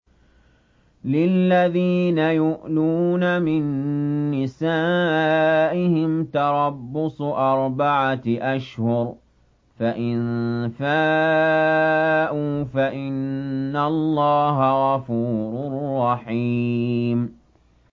لِّلَّذِينَ يُؤْلُونَ مِن نِّسَائِهِمْ تَرَبُّصُ أَرْبَعَةِ أَشْهُرٍ ۖ فَإِن فَاءُوا فَإِنَّ اللَّهَ غَفُورٌ رَّحِيمٌ